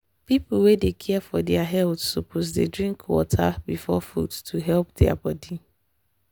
people wey dey care for their health suppose dey drink water before food to help their body.